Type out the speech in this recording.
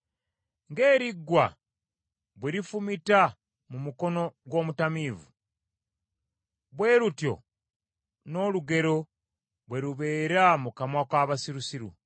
Ng’eriggwa bwe lifumita mu mukono gw’omutamiivu, bwe lutyo n’olugero bwe lubeera mu kamwa k’abasirusiru.